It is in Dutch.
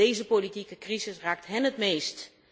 Deze politieke crisis raakt hen het meest.